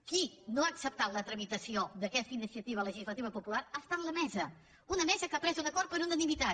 qui no ha acceptat la tramitació d’aquesta iniciativa legislativa popular ha estat la mesa una mesa que ha pres un acord per unanimitat